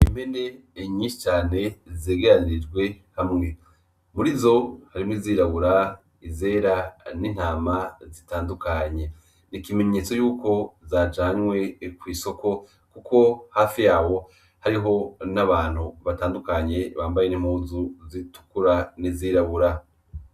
Impene nyinshi cane zegeranirijwe hamwe, murizo harimwo izirabura ,izera n'intama zitandukanye ikimenyetso yuko zajanwe kw'isoko kuko hafi yazo hariho abantu batandukanye bambaye n' impuzu zitukura n'izirabura.